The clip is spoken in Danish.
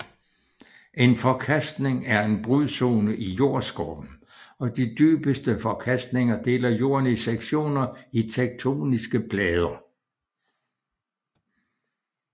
En forkastning er en brudzone i jordskorpen og de dybeste forkastninger deler Jorden i sektioner af tektoniske plader